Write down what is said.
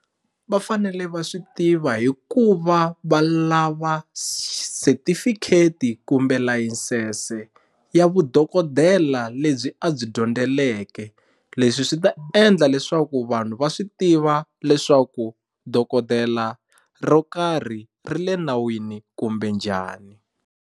Va fanele va swi tiva hikuva va lava setifikheti kumbe layisense ya vudokodela lebyi a byi dyondzeleke leswi swi ta endla leswaku vanhu va swi tiva leswaku dokodela ro karhi ri le nawini kumbe njhani.